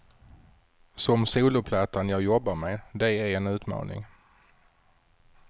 Som soloplattan jag jobbar med, det är en utmaning.